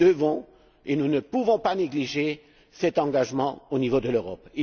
Nous devons et nous ne pouvons pas négliger cet engagement au niveau de l'Europe.